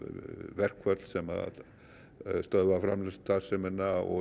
verkföll sem stöðva framleiðslustarfsemina og